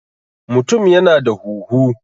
mutum yana da huhu